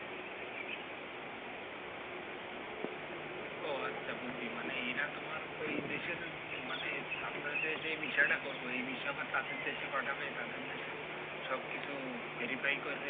ও আচ্ছা বুঝছি মানে এরা তোমার ওই দেশের মানে আমাদের যেই visa টা করব এই visa আবার তাদের দেশে পাঠাবে যে দেশে পাঠাবে তাদের দেশেও সবকিছু verify করবে